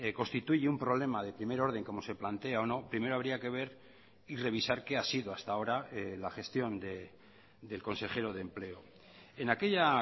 constituye un problema de primer orden como se plantea o no primero habría que ver y revisar qué ha sido hasta ahora la gestión del consejero de empleo en aquella